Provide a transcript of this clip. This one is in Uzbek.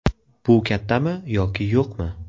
Bu kattami yoki yo‘qmi?